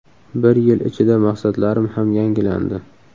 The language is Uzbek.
Bir yil ichida maqsadlarim ham yangilandi.